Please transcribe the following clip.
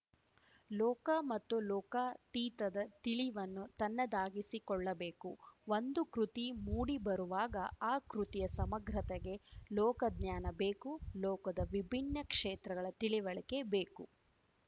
ಲೋಕ ಮತ್ತು ಲೋಕಾತೀತದ ತಿಳಿವನ್ನು ತನ್ನದಾಗಿಸಿಕೊಳ್ಳಬೇಕು ಒಂದು ಕೃತಿ ಮೂಡಿಬರುವಾಗ ಆ ಕೃತಿಯ ಸಮಗ್ರತೆಗೆ ಲೋಕಜ್ಞಾನ ಬೇಕು ಲೋಕದ ವಿಭಿನ್ನ ಕ್ಷೇತ್ರಗಳ ತಿಳಿವಳಿಕೆ ಬೇಕು